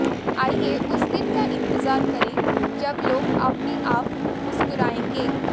आइए उस दिन का इंतजार करें जब लोग अपने आप मुस्कराएंगे